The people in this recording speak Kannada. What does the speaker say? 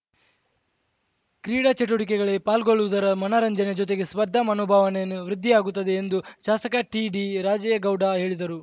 ಕ್ರೀಡಾ ಚಟುವಟಿಕೆಗಳಲ್ಲಿ ಪಾಲ್ಗೊಳ್ಳುವುದರ ಮನರಂಜನೆ ಜೊತೆಗೆ ಸ್ಪರ್ಧಾ ಮನೋಭಾವನೆಯನ್ನು ವೃದ್ಧಿಯಾಗುತ್ತದೆ ಎಂದು ಶಾಸಕ ಟಿಡಿರಾಜೇಗೌಡ ಹೇಳಿದರು